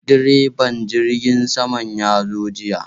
Direban jirgin sama ya zo jiya.